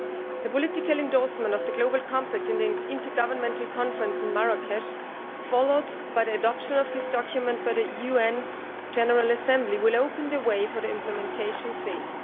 The political endorsement of the Global Compact in the intergovernmental conference in Marrakech followed by the adoption of this document by the UN General Assembly will open the way for the implementation phase.